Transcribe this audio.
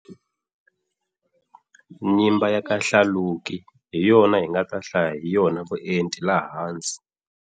Nyimba yaka Hlaluki hi yona hinga ta hlaya hi yona vuenti laha hansi.